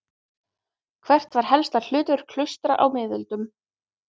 Hvert var helsta hlutverk klaustra á miðöldum?